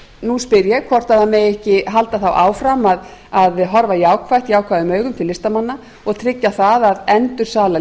nú spyr ég hvort megi ekki halda þá áfram að horfa jákvæðum augum til listamanna og tryggja það að endursala